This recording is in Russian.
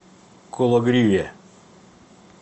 кологриве